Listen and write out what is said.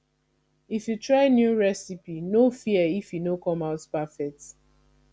if you try new recipe no fear if e no come out perfect